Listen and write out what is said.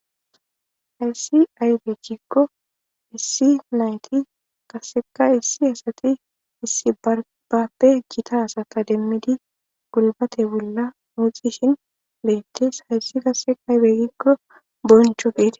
Hayiss ayibe gikko issi qasekka issi asati issi bappe Gita asata demmid gulbate bolla muxishin betees .hayiss qase ayibe gikko bonchcho gidi